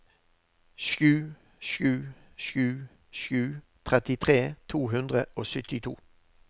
sju sju sju sju trettitre to hundre og syttito